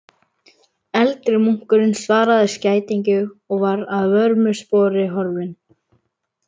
Eldri munkurinn svaraði skætingi og var að vörmu spori horfinn.